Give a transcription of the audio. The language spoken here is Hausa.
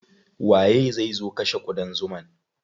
Waye zai zo kashe ƙudan zuman?